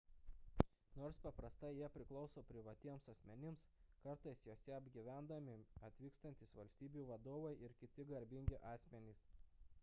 nors paprastai jie priklauso privatiems asmenims kartais juose apgyvendami atvykstantys valstybių vadovai ir kiti garbingi asmenys